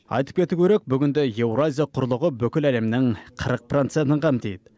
айтып кету керек бүгінде еуразия құрлығы бүкіл әлемнің қырық процентін қамтиды